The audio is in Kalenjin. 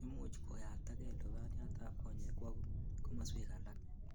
Imuch koyaptagei lubaniatab konyek kwo komaswek alak